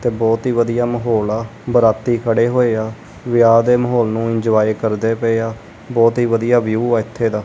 ਤੇ ਬਹੁਤ ਹੀ ਵਧੀਆ ਮਾਹੌਲ ਆ ਬਰਾਤੀ ਖੜੇ ਹੋਏ ਆ ਵਿਆਹ ਦੇ ਮਾਹੌਲ ਨੂੰ ਇੰਜੋਏ ਕਰਦੇ ਪਏ ਆ ਬਹੁਤ ਹੀ ਵਧੀਆ ਵਿਊ ਆ ਇੱਥੇ ਦਾ।